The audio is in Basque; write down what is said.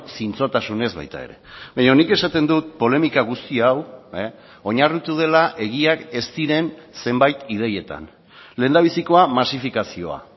zintzotasunez baita ere baina nik esaten dut polemika guzti hau oinarritu dela egiak ez diren zenbait ideietan lehendabizikoa masifikazioa